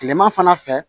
Kilema fana fɛ